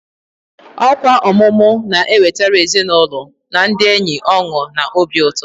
Ọkwa ọmụmụ na-ewetara ezinụlọ na ndị enyi ọṅụ na obi ụtọ.